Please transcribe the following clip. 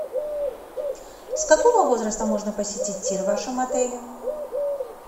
с какого возраста можно посетить тир в вашем отеле